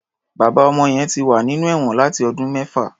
Bàbá ọmọ yẹn ti wà nínú ẹ̀wọn láti ọdún mẹ́fà.